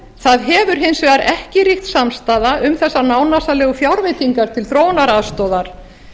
það hefur hins vegar ekki ríkt samstaða um þessar nánasarlegu fjárveitingar til þróunaraðstoðar